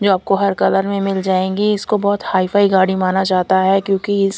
जो आपको हर कलर में मिल जाएंगी इसको बहोत हाई फाई गाड़ी माना जाता है क्योंकि इस--